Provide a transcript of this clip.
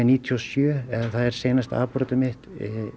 níutíu og sjö eða það er seinasta afbrotið mitt